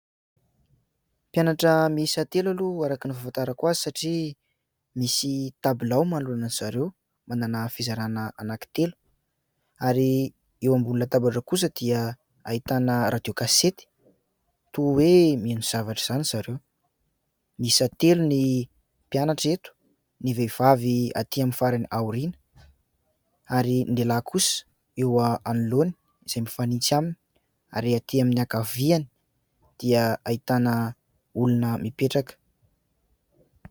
Mpianatra miisa telo aloha araka ny fahafantarako azy satria misy tabilao manoloana aiza ireo manana fizarana anankitelo ary eo ambonina latabatra kosa dia ahitana radio kasety toy hoe mihaino zavatra izany ry zareo ; miisa telo ny mpianatra eto ny vehivavy aty amin'ny farany aoriana ary ny lehilahy kosa eo anoloana izay mifanintsy aminy ary aty amin'ny ankaviany dia ahitana olona mipetraka.